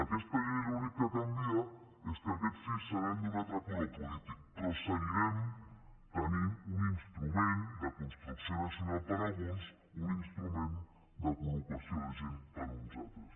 aquesta llei l’únic que canvia és que aquests sis seran d’un altre color polític però seguirem tenint un instrument de construcció nacional per alguns un instrument de col·locació de gent per uns altres